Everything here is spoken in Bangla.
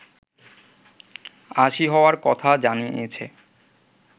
৮০ হওয়ার কথা জানিয়েছে